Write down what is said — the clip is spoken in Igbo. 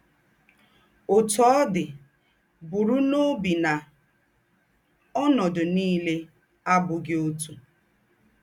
Ọ́tú ọ̀ dị̀, bùrù n’óbì ná ọ́nọ́dù nìlè àbùghì ótù.